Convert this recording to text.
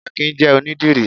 Akin jẹ́ onídìrí